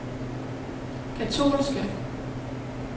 katolske